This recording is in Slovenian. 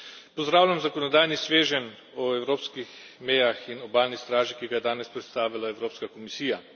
Pozdravljam zakonodajni sveženj o evropskih mejah in obalni straži, ki ga je danes predstavila Evropska komisija.